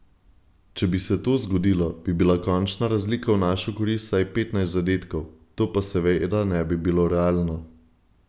Če bi se to zgodilo, bi bila končna razlika v našo korist vsaj petnajst zadetkov, to pa seveda ne bi bilo realno.